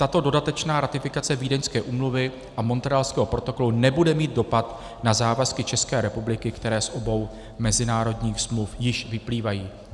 Tato dodatečná ratifikace Vídeňské úmluvy a Montrealského protokolu nebude mít dopad na závazky České republiky, které z obou mezinárodních smluv již vyplývají.